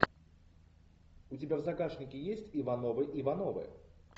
у тебя в загашнике есть ивановы ивановы